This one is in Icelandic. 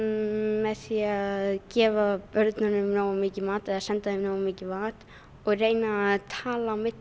með því að gefa börnunum nógu mikinn mat eða senda þeim nógu mikinn mat og reyna að tala á milli